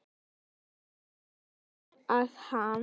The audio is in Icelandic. Þú sagðir mér að hann.